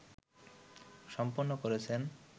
সম্পন্ন করেছেন